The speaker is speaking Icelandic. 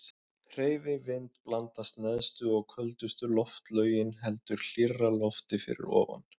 Hreyfi vind blandast neðstu og köldustu loftlögin heldur hlýrra lofti fyrir ofan.